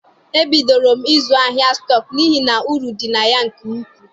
E bidoro m ịzụ ahịa stọk n'ihi na uru dị na ya nke ukwuu.